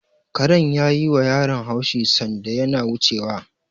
Karen ya yiwa yaron haushi sanda yana wucewa.